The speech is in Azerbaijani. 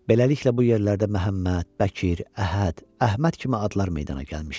Beləliklə, bu yerlərdə Məhəmməd, Bəkir, Əhəd, Əhməd kimi adlar meydana gəlmişdi.